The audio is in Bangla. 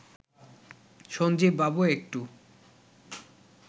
সঞ্জীব বাবু একটু